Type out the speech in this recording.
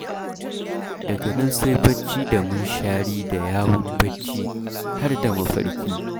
Daga nan sai barci da munshari da yawun barci, har da mafarki.